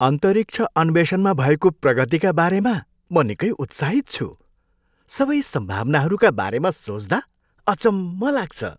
अन्तरिक्ष अन्वेषणमा भएको प्रगतिका बारेमा म निकै उत्साहित छु! सबै सम्भावनाहरूका बारेमा सोच्दा अचम्म लाग्छ।